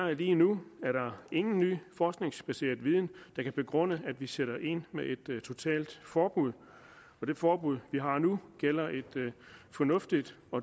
lige nu er der ingen ny forskningsbaseret viden der kan begrunde at vi sætter ind med et totalt forbud det forbud vi har nu gælder et fornuftigt